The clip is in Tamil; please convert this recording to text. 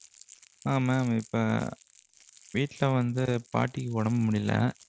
அஹ் mam இப்போ வீட்ல வந்து பாட்டிக்கு ஒடம்பு முடியல.